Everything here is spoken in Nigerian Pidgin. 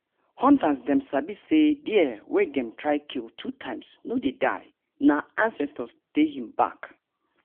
hunters dem sabi say deer wey dem try kill two times wey no die. nah ansestors dey hin bak